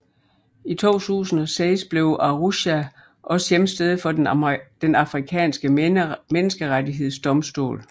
I 2006 blev Arusha også hjemsted for Den Afrikanske menneskerettighedsdomstol